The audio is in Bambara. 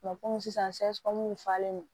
kɔmi sisan falen no